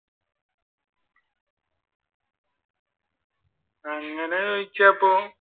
അങ്ങനെ ചോയ്ച്ച ഇപ്പൊ